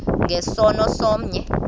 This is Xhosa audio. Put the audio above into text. nge sono somnye